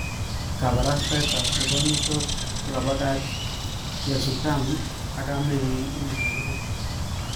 Kabarastaet ab nekonyitot kokabakach Tyasutami ak kamenyin en orogenet.